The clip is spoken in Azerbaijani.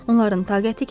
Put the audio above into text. Onların taqəti kəsilirdi.